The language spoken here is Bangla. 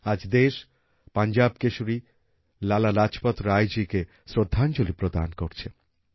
আজ দেশ পাঞ্জাব কেশরী লালা লাজপত রায়জীকে শ্রদ্ধাঞ্জলি প্রদান করছে